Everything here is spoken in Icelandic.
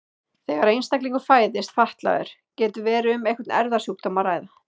Þegar einstaklingur fæðist fatlaður getur verið um einhvern erfðasjúkdóm að ræða.